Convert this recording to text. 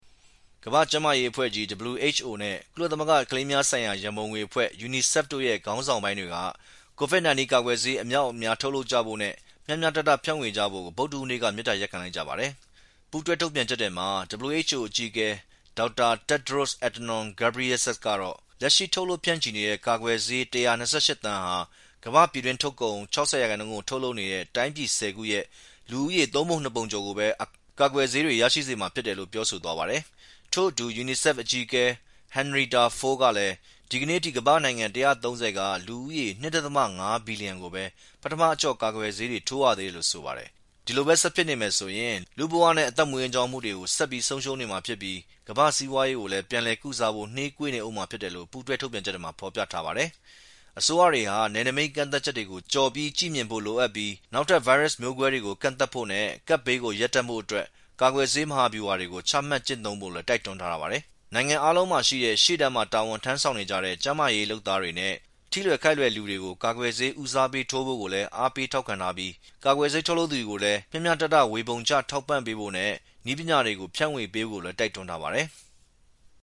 ကမ္ဘာ့ကျန်းမာရေးအဖွဲ့WHO နဲ့ကုလသမဂ္ဂကလေးများဆိုင်ရာ ရန်ပုံငွေအဖွဲ့UNICEF ခေါင်းဆောင်ပိုင်းတွေက COVID-19 ကာကွယ်ဆေးအမြောက်အများ ထုတ်လုပ်ကြဖို့နဲ့မျှမျှတတ ဖြန့်ဝေကြဖို့မေတ္တာရပ်ခံ လိုက်ကြပါတယ်။ ပူးတွဲထုတ်ပြန်ချက်ထဲမှာ WHO အကြီးအကဲ Dr. Tedros Adhanom Ghebreyesus ကတော့ လက်ရှိ ထုတ်လုပ်ဖြန့်ချီနေတဲ့ ကာကွယ်ဆေး ၁၂၈ သန်းဟာ ကမ္ဘာ့ ပြည်တွင်းထုတ်ကုန် ၆၀ ရာခိုင်နှုန်းကို ထုတ်လုပ်နေတဲ့ တိုင်းပြည် ၁၀ ခုရဲ့ လူဦးရေ သုံးပုံနှစ်ပုံကျော်လောက်ကိုပဲ ကာကွယ်ဆေး ရရှိစေတယ်လို့ပြောဆိုသွားပါတယ်။ ထို့အတူ UNICEF အကြီးအကဲ Henrietta Fore ကလည်း ဒီကနေ့အထိ ကမ္ဘာ့နိုင်ငံ ၁၃၀ က လူ ၂.၅ ဘီလျံကိုပဲ ပထမအကျော့ ကာကွယ်ဆေး ထိုးနှံရသေးတယ်လို့ဆိုပါတယ်။ ဒီလိုပဲ ဆက်ဖြစ်နေမယ်ဆိုရင် လူ့ဘဝနဲ့အသက်မွေးဝမ်းကြောင်းမှုတွေဆက်ပြီး ဆုံးရှုံးမှာဖြစ်ပြီး ကမ္ဘာ့စီးပွားရေးကို ပြန်လည်ကုစားဖို့နှေးကွေးနေဦးမှာလည်း ဖြစ်တယ်လို့ပူးတွဲ ထုတ်ပြန်ချက်ထဲမှာ ဖော်ပြထားပါတယ်။ အစိုးရတွေဟာ နယ်နိမိတ်ကန့်သတ်ချက်တွေကို ကျော်ပြီး ကြည့်မြင်ဖို့လိုပြီး နောက်ထပ်ဗိုင်းရပ်စ်မျိုးကွဲတွေကို ကန့်သတ်ဖို့နဲ့ကပ်ဘေးကို ရပ်တန့်ဖို့ကာကွယ်ဆေး မဟာဗျူဟာကို ချမှတ်ကျင့်သုံးဖို့ တိုက်တွန်းထားပါတယ်။ နိုင်ငံအားလုံးမှာရှိတဲ့ ရှေ့တန်းမှာ တာဝန်ထမ်းဆောင်နေကြတဲ့ ကျန်းမာရေး လုပ်သားတွေနဲ့ထိလွယ် ခိုက်လွယ်တဲ့လူတွေကို ကာကွယ်ဆေးဦးစားပေးထိုးဖို့ တိုက်တွန်းထားပြီး ကာကွယ်ဆေး ထုတ်လုပ်သူတွေ ကိုလည်း မျှမျှတတ ဝေပေးထောက်ပံဖို့နဲ့ နည်းပညာတွေ ဖြန့်ဝေပေးဖို့တိုက်တွန်းထားပါတယ်။